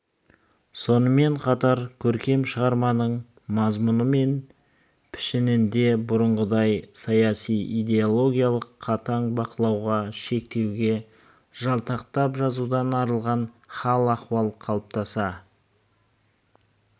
сонымен қатар көркем шығарманың мазмұны мен пішінінде бұрынғыдай саяси-идеологиялық қатаң бақылауға шектеуге жалтақтап жазудан арылған хал-ахуал қалыптаса